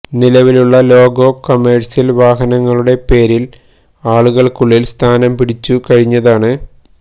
നിലവിലുള്ള logo commercial വാഹനങ്ങളുടെ പേരില് ആളുകള്ക്കുള്ളില് സ്ഥാനം പിടിച്ചു കഴിഞ്ഞതാണ്